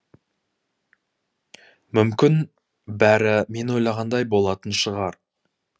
мүмкін бәрі мен ойлағандай болатын шығар